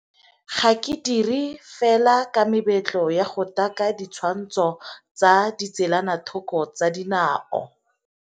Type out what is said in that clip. Ga ke dire fela ka mebetlo ya go taka ditshwantsho tsa ditselanathoko tsa dinao.